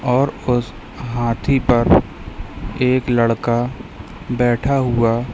और उस हाथी पर एक लड़का बैठा हुआ--